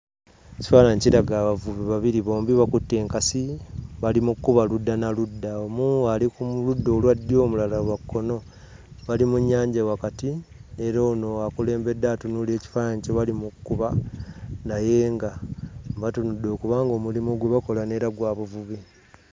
EKifaananyi kiraga abavubi babiri, bombi bakutte enkasi bali mu kkuba ludda na ludda. Omu ali ku ludda olwa ddyo, omulala lwa kkono. Bali mu nnyanja wakati, era ono akulembedde atunuulira ekifaananyi kye bali mu kkuba naye nga batunudde okuba ng'omulimu gwe bakola neera gwa buvubi.